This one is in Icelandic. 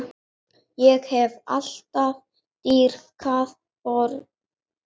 Ég hef alltaf dýrkað börn.